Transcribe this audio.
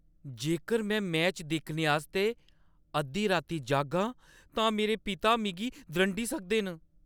जेकर में मैच दिक्खने आस्तै अद्धी राती जागां तां मेरे पिता मिगी द्रंडी सकदे न।